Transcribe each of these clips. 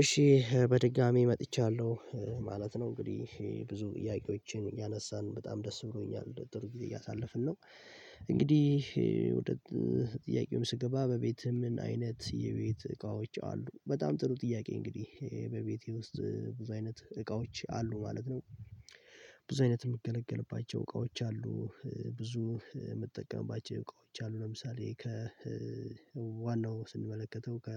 እሺ በድጋሚ መጥቻለሁ ማለት ነው እንግዲህ ብዙ ጥያቄዎችን እያነሳን በጣም ደስ ብሎኛል ጥሩ ግዜ እያሳለፍን ነው። እንግዲህ ወደ ጥያቄውም ስገባ በቤትህ ምን አይነት የቤት እቃዎች አሉ? በጣም ጥሩ ጥያቄ እንግዲህ በቤቴ ውስጥ ብዙ አይነት እቃዎች አሉ ማለት ነው። ብዙ አይነት የምገለገልባቸው እቃዎች አሉ። ብዙ የምጠቀምባቸው እቃዎች አሉ ለምሳሌ ከ ዋናው ስንመለከተው ከ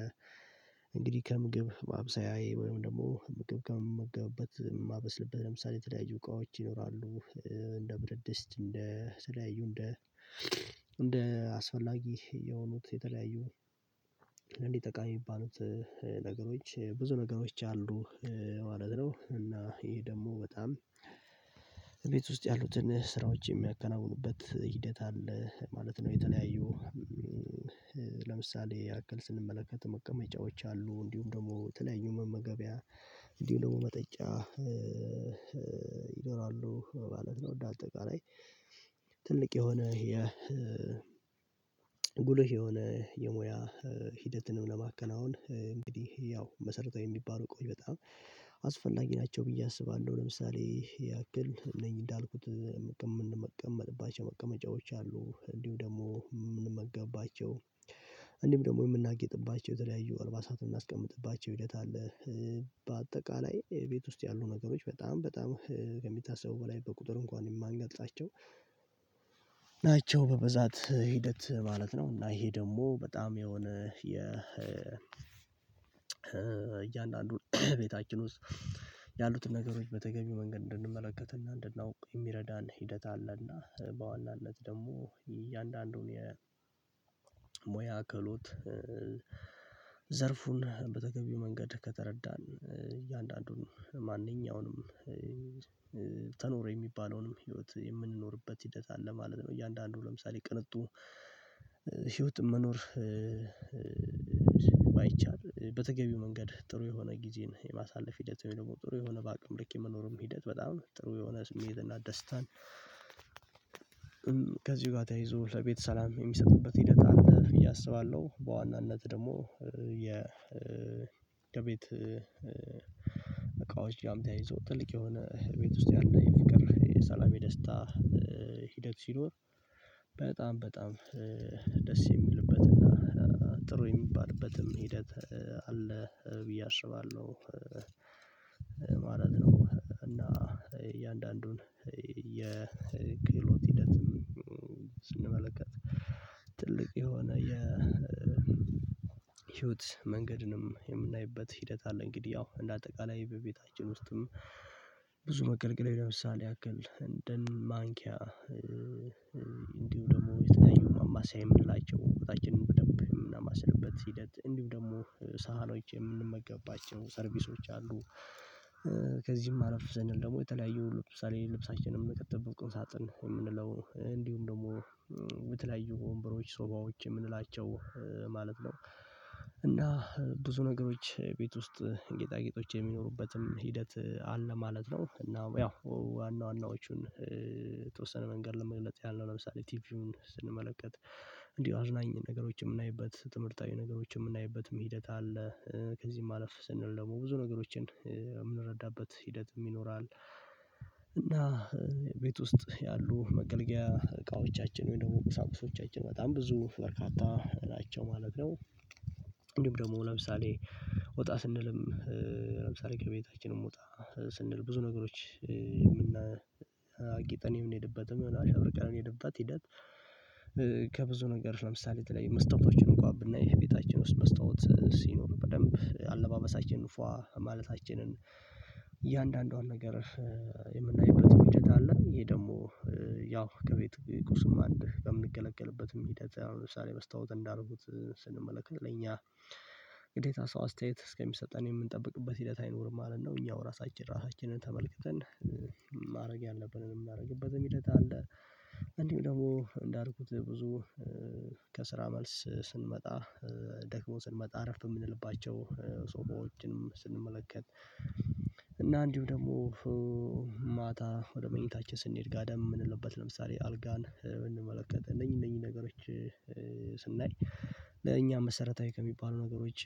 እንግዲህ ከምግብ ማብሰያዬ ወይም ደግሞ ምግብ ከምመገብበት የማበስልበት ለምሳሌ የተለያዩ እቃዎች ይኖራሉ። እንደ ብረት ድስት እንደ የተለያዩ እንደ እንደ አስፈላጊ የሆኑት የተለያዩ እንዲ ጠቃሚ የሚባሉት ነገሮች ብዙ ነገሮች አሉ ማለት ነው። እና ይሄ ደግሞ በጣም ቤት ውስጥ ያሉትን ስራዎች የሚያከናውኑበት ሂደት አለ ማለት ነው። የተለያዩ ለምሳሌ ያክል ስንመለከት መቀመጫዎች አሉ እንዲሁም ደግሞ የተለያዩ መመገቢያ እንዲሁም ደግሞ መጠጫ ይኖራሉ ማለት ነው። እንደ አጠቃላይ ትልቅ የሆነ የ ጉልህ የሆነ የሙያ ሂደትንም ለማከናወን እንግዲህ ያው መሰረታዊ የሚባሉ እቃዎች በጣም አስፈላጊ ናቸው ብዬ አስባለሁ። ለምሳሌ ያክል እነኚህ እንዳልኩት የምንቀመጥባቸው መቀመጫዎች አሉ እንዲሁ ደግሞ የምንመገብባቸው እንዲሁም ደግሞ የምናጌጥባቸው የተለያዩ አልባሳት የምናስቀምጥባቸው ሂደት አለ። በአጠቃላይ ቤት ውስጥ ያሉ ነገሮች በጣም በጣም ከሚታሰበው በላይ በቁጥር እንኳን የማንገልጻቸው ናቸው በበዛት ሂደት ማለት ነው። እና ይሄ ደግሞ በጣም የሆነ የ እያንዳንዱን ቤታችን ውስጥ ያሉትን ነገሮች በተገቢው መንገድ እንድንመለከት እና እንድናውቅ የሚረዳን ሂደት አለ እና በዋናነት ደግሞ እያንዳንዱን የሙያ ክህሎት ዘርፉን በተገቢው መንገድ ከተረዳን እያንዳንዱን ማንኛውንም ተኖረ የሚባለውንም ህይወት የምንኖርበት ሂደት አለ ማለት ነው። እያንዳንዱ ለምሳሌ ቅንጡ ህይወት መኖር ባይቻል በተገቢው መንገድ ጥሩ የሆነ ጊዜን የማሳለፍ ሂደት ወይም ደግሞ ጥሩ የሆነ በአቅም ልክ የመኖርም ሂደት በጣም ጥሩ የሆነ ስሜት እና ደስታን ከዚሁ ጋር ተያይዞ ለቤት ሰላም የሚሰጡበት ሂደት አለ ብዬ እስባለሁ። በዋናነት ደግሞ የ ከቤት እቃዎች ጋርም ተያይዞ ትልቅ የሆነ ቤት ውስጥ ያለ የፍቅር የሰላም የደስታ ሂደት ሲኖር በጣም በጣም ደስ የሚልበት እና ጥሩ የሚባልበትም ሂደት አለ ብዬ አስባለሁ ማለት ነው። እና እያንዳንዱን የክህሎት ሂደት ስንመለከት ትልቅ የሆነ የ ህይወት መንገድንም የምናይበት ሂደት አለ እንግዲህ ያው እንደ አጠቃላይ በቤታችን ውስጥም ብዙ መገልገል ለምሳሌ ያክል እንደን ማንኪያ እንዲሁም ደግሞ የተለያዩ ማማሰያ የምንላቸው ወጣችንም በደንብ የምናማስልበት ሂደት እንዲሁም ደግሞ ሳህኖች የምንመገብባቸው ሰርቪሶች አሉ። ከዚህም አረፍ ስንል ዘንድ ደግሞ የተለያዩ ለምሳሌ ልብሳችንም ምንከትበት ቁም ሳጥን የምንለው እንዲሁም ደግሞ የተለያዩ ወንበሮች ሶፋዎች የምንላቸው ማለት ነው እና ብዙ ነገሮች ቤት ውስጥ ጌጣጌጦች የሚኖሩበትም ሂደት አለ ማለት ነው። እና ያው ዋና ዋናዎቹን የተወሰነ መንገድ ለመግለጥ ያህል ነው ለምሳሌ ቲቪውን ስንመለከት እንዲሁ አዝናኝ ነገሮችን የምናይበት ትምህርታዊ ነገሮችን የምናይበትም ሂደት አለ ከዚህ አለፍ ስንል ደግሞ ብዙ ነገሮችን የምንረዳበት ሂደትም ይኖራል። እና ቤት ውስጥ ያሉ መገልገያ እቃዎቻችን ወይ ደግሞ ቁሳቁሶቻችን በጣም ብዙ በርካታ ናቸው ማለት ነው። እንዲሁም ደግሞ ለምሳሌ ወጣ ስንልም ለምሳሌ ከቤታችንም ወጣ ስንል ብዙ ነገሮች የምና አጊጠን የምንሄድበትም አሸብርቀን የምንሄድበት ሂደት። ከብዙ ነገሮች ለምሳሌ የተለያየ መስታወቶችን እንኳ ብናይ ቤታችን ውስጥ መስታወት ሲኖር በደንብ አለባበሳችንን ፏ ማለታችንን እያንዳንዷን ነገር የምናይበትም ሂደት አለ። ይሄ ደግሞ ያው ከቤት ቁስም አንድ በምንገለገልበትም ሂደት አሁን ለምሳሌ መስታወት እንዳልኩት ስንመለከት ለኛ ግዴታ ሰው አስተያየት እስከሚሰጠን የምንጠብቅበት ሂደት አይኖርም ማለት ነው። እኛው ራሳችን ራሳችንን ተመልክተን ማድረግ ያለብንንም ምናደርግበትም ሂደት አለ። እንዲሁም ደግሞ እንዳልኩት ብዙ ከስራ መልስ ስንመጣ ደግሞ ስንመጣ አረፍ የምንልባቸው ሶፋዎችንም ስንመለከት እና እንዲሁ ደግሞ ማታ ወደ መኝታችን ስንሄድ ጋደም የምንልበት ለምሳሌ አልጋን ብንመለከት እነኚህን እነኚህን ነገሮች ስናይ ለእኛ መሰረታዊ ከሚባሉ ነገሮች